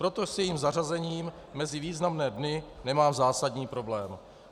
Proto s jejím zařazením mezi významné dny nemám zásadní problém.